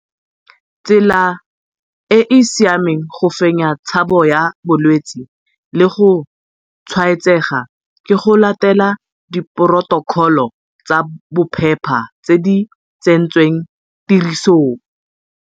Tsela e e siameng go fenya tshabo ya bolwetse le go tshwaetsega ke go latela diphorotokholo tsa bophepa tse di tsentsweng tirisong.